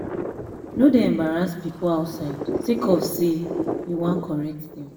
no dey embarrass pipo outside sake of sey um you wan correct dem.